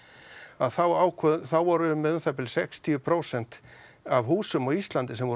að þá ákváðum þá vorum við með um það bil sextíu prósent af húsum á Íslandi sem voru